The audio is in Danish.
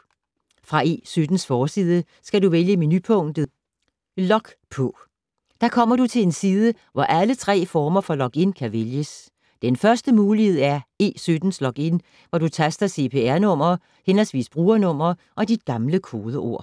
Fra E17’s forside skal du vælge menupunktet Log på. Da kommer du til en side, hvor alle tre former for login kan vælges. Den første mulighed er E17’s login, hvor du taster cpr-nummer/brugernummer og dit gamle kodeord.